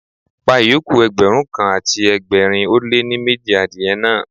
Pa ìyókù Ẹgbẹ̀rún kan àti ẹgbẹ̀rin ó lé ní méjì adìye náà.